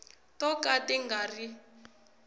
to ka ti nga ri